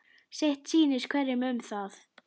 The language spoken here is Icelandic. Sitt sýnist hverjum um það.